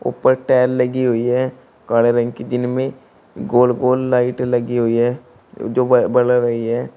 ऊपर टाइल लगी हुई है काले रंग की दिन में गोल गोल लाइट लगी हुई है जो बल रही है।